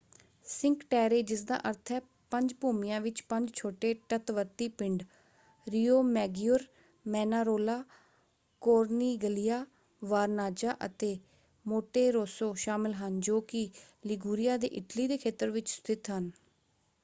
Sink Terre ਜਿਸਦਾ ਅਰਥ ਹੈ ਪੰਜ ਭੂਮੀਆਂ ਵਿੱਚ ਪੰਜ ਛੋਟੇ ਤੱਟਵਰਤੀ ਪਿੰਡ ਰੀਓਮੈਗੀਓਰ ਮੈਨਾਰੋਲਾ ਕੋਰਨੀਗਲੀਆ ਵਰਨਾੱਜ਼ਾ ਅਤੇ ਮੋਂਟੇਰੋਸੋ ਸ਼ਾਮਲ ਹਨ ਜੋ ਕਿ ਲੀਗੂਰੀਆ ਦੇ ਇਟਲੀ ਦੇ ਖੇਤਰ ਵਿੱਚ ਸਥਿਤ ਹਨ।